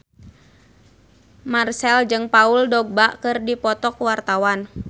Marchell jeung Paul Dogba keur dipoto ku wartawan